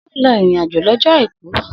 Se oun lọ irin ajo lójó àìkú?